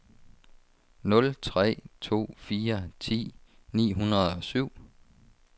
nul tre to fire ti ni hundrede og syv